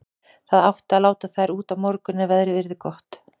Það átti að láta þær út á morgun ef veðrið yrði gott.